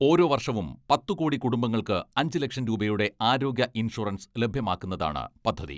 ഓരോ വർഷവും പത്ത് കോടി കുടുംബങ്ങൾക്ക് അഞ്ച് ലക്ഷം രൂപയുടെ ആരോഗ്യ ഇൻഷുറൻസ് ലഭ്യമാക്കുന്നതാണ് പദ്ധതി.